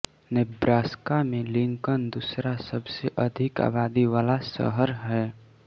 Nebraska में Lincoln दूसरा सबसे अधिक आबादी वाला शहर है